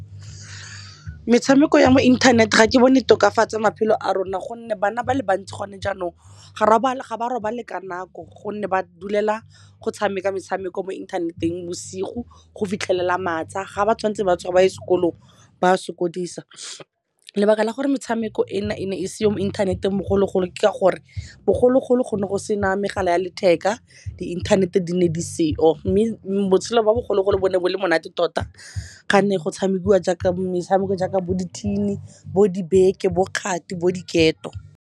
Metshameko ya mo inthaneteng ga ke bone tokafatsa maphelo a rona gonne bana ba le bantsi gone jaanong ga ba robale ka nako, gonne ba dulela go tshameka metshameko mo inthaneteng bosigo go fitlhelela masa. Ga ba tshwanetse ba tsoge ba ye sekolong, ba a sokodisa. Lebaka la gore metshameko e na e ne e seyo mo inthaneteng bogologolo ke ka gore bogologolo go ne go sena megala ya letheka, di inthanete di ne di seo. Mme mo botshelo jwa bogologolo bo ne bo le monate tota, ga ne go tshamekiwa metshameko jaaka bo di-tin-i, bo di beke, bo kgati, bo diketo.